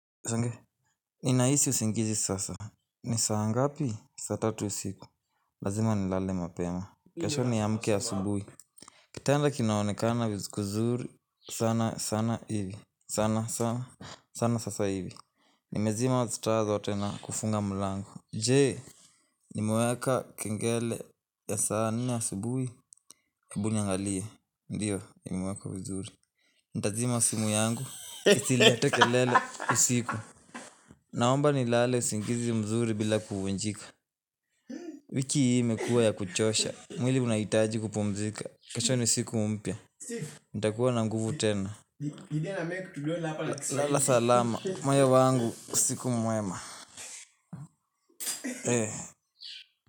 Sange, ni ninahisi usingizi sasa. Ni saa ngapi? Saa tatu usiku. Lazima nilale mapema. Kesho niamke asubuhi. Kitanda kinaonekana kuzuri sana sana hivi. Sana sana sana sasa hivi. Nimezima taa zote na kufunga mlango. Jee, nimeweka kengele ya saa ni asubuhi, hebu niangalie. Ndiyo, nimeweka vizuri. Nitazima simu yangu isilete kelele usiku. Naomba nilale usingizi mzuri bila kuvunjika wiki hii imekua ya kuchosha, mwili unahitaji kupumzika kesho ni siku mpya nitakuwa na nguvu tena Lala salama, moyo wangu usiku mwema.